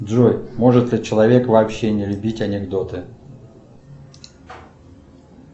джой может ли человек вообще не любить анекдоты